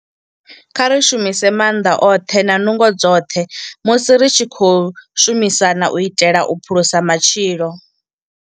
Kha ri shumise maanḓa oṱhe na nungo dzoṱhe musi ri tshi khou shumisana u itela u phulusa matshilo.